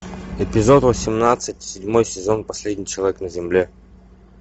эпизод восемнадцать седьмой сезон последний человек на земле